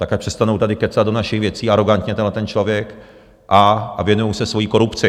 Tak ať přestanou tady kecat do našich věcí, arogantně tenhleten člověk, a věnují se svojí korupci.